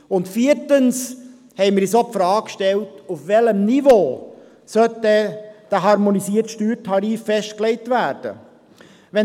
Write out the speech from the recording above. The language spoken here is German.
Und Viertens haben wir uns auch die Frage gestellt, auf welchem Niveau der harmonisierte Steuertarif festgelegt werden sollte.